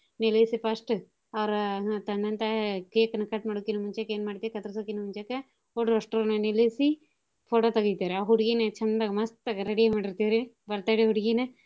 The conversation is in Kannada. ನಿಲ್ಲಿಸಿ first ಅವ್ರ ಹ್ಮ್ ತಂದಂತ cake ನ cut ಮಾಡೋಕಿನ ಮುಂಚೆಕ್ ಎನ್ ಮಾಡ್ತೀವಿ ಕತ್ರಸಕಿನ ಮುಂಚೆಕ ಹುಡ್ರ್ ಒಸ್ಟೂರ್ನೂ ನಿಲ್ಲಿಸಿ photo ತೆಗಿತೇವ್ ರಿ. ಆ ಹುಡ್ಗಿನ್ ಚಂದಗ ಮಸ್ತಗ ready ಮಾಡಿರ್ತೇವ್ ರಿ birthday ಹುಡ್ಗಿನ.